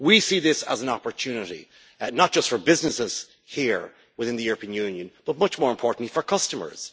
We see this as an opportunity, not just for businesses here within the European Union but much more importantly for customers.